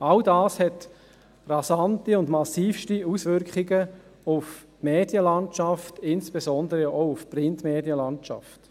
All dies hat rasante und massivste Auswirkungen auf die Medienlandschaft, insbesondere auch auf die Printmedienlandschaft.